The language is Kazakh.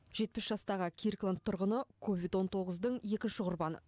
жетпіс жастағы киркланд тұрғыны ковид он тоғыздың екінші құрбаны